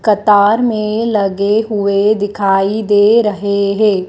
कतार में लगे हुए दिखाई दे रहे हैं।